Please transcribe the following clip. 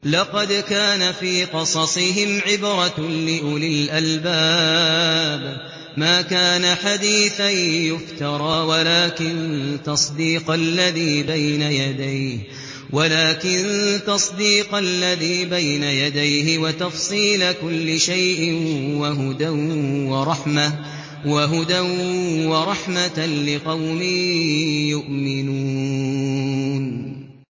لَقَدْ كَانَ فِي قَصَصِهِمْ عِبْرَةٌ لِّأُولِي الْأَلْبَابِ ۗ مَا كَانَ حَدِيثًا يُفْتَرَىٰ وَلَٰكِن تَصْدِيقَ الَّذِي بَيْنَ يَدَيْهِ وَتَفْصِيلَ كُلِّ شَيْءٍ وَهُدًى وَرَحْمَةً لِّقَوْمٍ يُؤْمِنُونَ